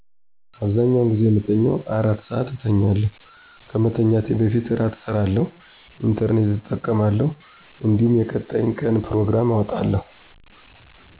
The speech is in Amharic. አብዛኛውን ጊዜ የምተኘው አራት (4) ሰአት እተኛለሁ። ከመኛቴ በፊት እራት እሰራለሁ፣ ኢንተረኔት እጠቀማለሁ እንዲሁም የቀጣይ ቀን ጵሮግራም አወጣለሁ።